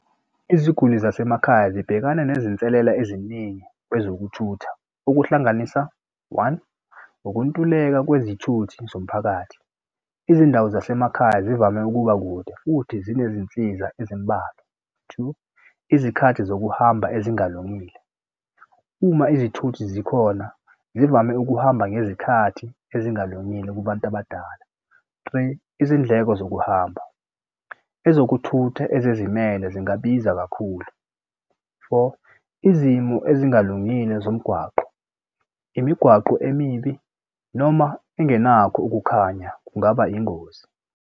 Iziguli zasemakhaya zibhekana nezinselela eziningi wezokuthutha okuhlanganisa one ukuntuleka kwezithuthi zomphakathi. Izindawo zasemakhaya zivame ukuba kude futhi zinezinsiza ezimbalwa. Two, izikhathi zokuhamba ezingalungile uma izithuthi zikhona zivame ukuhamba ngezikhathi ezingalungile kubantu abadala. Three, izindleko zokuhamba ezokuthutha ezizimele zingabizwa kakhulu. Four, izimo ezingalungile zomgwaqo imigwaqo emibi noma engenakho ukukhanya kungaba ingozi.